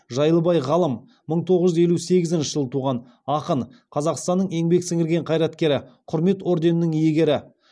жайлыбай ғалым мың тоғыз жүз елу сегізінші жылы туған ақын қазақстанның еңбек сіңірген қайраткері құрмет орденінің иегері